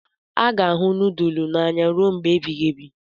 A ga-ahụ nudulu n'anya ruo mgbe ebighị ebi